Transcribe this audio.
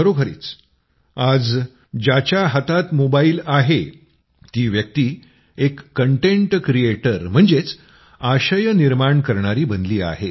खरोखरीच आज ज्याच्या हातात मोबाइल आहे ती व्यक्ती एक कन्टेट क्रिएटर म्हणजेच आशय निर्माण करणारी बनली आहे